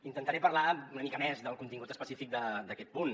intentaré parlar una mica més del contingut específic d’aquest punt